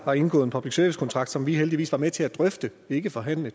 har indgået en public service kontrakt som vi heldigvis har været med til at drøfte ikke forhandle